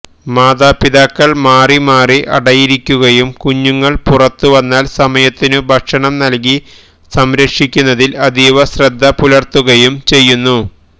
മാതാപിതാക്കൾ മാറി മാറി അടയിരിക്കുകയും കുഞ്ഞുങ്ങൾ പുറത്തുവന്നാൽ സമയത്തിനു ഭക്ഷണം നല്കി സംരക്ഷിക്കുന്നതിൽ അതീവ ശ്രദ്ധ പുലർത്തുകയും ചെയ്യുന്നു